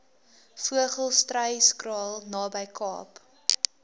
vogelstruyskraal naby kaap